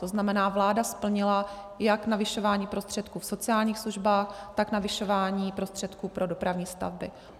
To znamená, vláda splnila jak navyšování prostředků v sociálních službách, tak navyšování prostředků pro dopravní stavby.